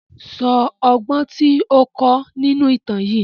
Sọ ọgbọ́n tí ó kọ́ nínú ìtàn yìí!